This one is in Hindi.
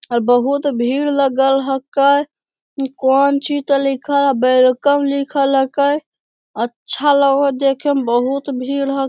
और बहुत भीड़ लगल हके कौन चीज ते लिखल हेय वेलकम लिखल हके अच्छा लगय हेय देखे मे बहुत भीड़ ह --